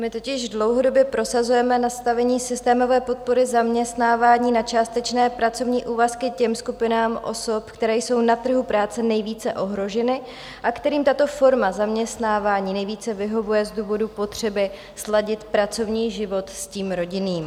My totiž dlouhodobě prosazujeme nastavení systémové podpory zaměstnávání na částečné pracovní úvazky těm skupinám osob, které jsou na trhu práce nejvíce ohroženy a kterým tato forma zaměstnávání nejvíce vyhovuje z důvodu potřeby sladit pracovní život s tím rodinným.